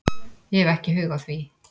Ég hef ekki hug á því